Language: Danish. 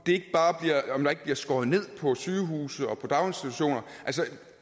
om der ikke bliver skåret ned på sygehuse og daginstitutioner altså